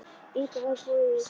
Inga höfðu búið í gamla daga.